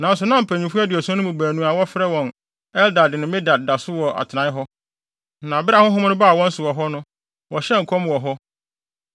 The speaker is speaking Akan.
Nanso na mpanyimfo aduɔson no mu baanu a wɔfrɛ wɔn Eldad ne Medad da so wɔ wɔn atenae hɔ. Na bere a honhom no baa wɔn so wɔ hɔ no, wɔhyɛɛ nkɔm wɔ hɔ.